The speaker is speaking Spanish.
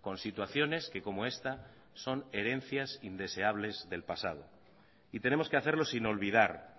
con situaciones que como esta son herencias indeseables del pasado y tenemos que hacerlo sin olvidar